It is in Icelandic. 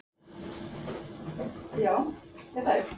Allar hinar fylkingarnar tilheyra hryggleysingjum.